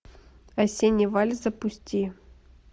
осенний вальс запусти